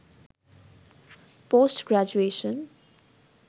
post graduation